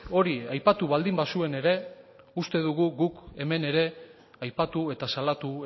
hori aipatu baldin bazuen ere uste dugu guk hemen ere aipatu eta salatu